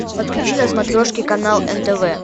подключи на смотрешке канал нтв